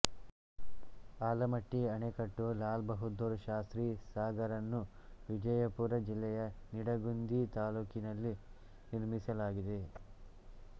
ಆಲಮಟ್ಟಿ ಆಣೆಕಟ್ಟುಲಾಲ ಬಹಾದ್ದೂರ ಶಾಸ್ತ್ರಿ ಸಾಗರನ್ನು ವಿಜಯಪುರ ಜಿಲ್ಲೆಯ ನಿಡಗುಂದಿ ತಾಲ್ಲುಕಿನಲ್ಲಿ ನಿರ್ಮಿಸಲಾಗಿದೆ